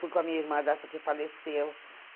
Fui com a minha irmã dessa que faleceu.